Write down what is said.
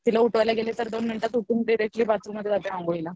तिला उठवायला गेला तर दोन मिनटात उठून डायरेक्ट्लि बाथरूम मध्ये जाते आंघोळीला